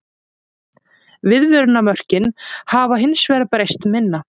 Viðmiðunarmörkin hafa hins vegar breyst minna.